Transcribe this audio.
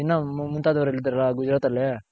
ಇನ್ನ ಮುಂತಾದವ್ರ್ ಇದಾರ ಗುಜರಾತ್ ಅಲ್ಲಿ